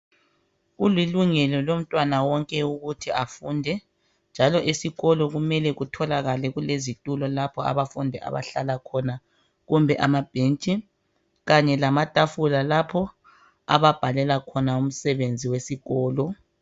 Kulilungelo lomntwana wonke ukuthi afunde njalo esikolo kumele kutholakale kulezitulo lapho abafundi abahlala khona kumbe amabhentshi kanye lamatafula lapho ababhalela khona umsebenzi wesikolo.